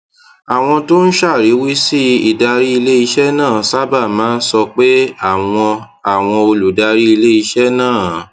àwọn tó ń ṣàríwísí ìdarí iléiṣẹ náà sábà máa ń sọ pé àwọn àwọn olùdarí iléiṣẹ náà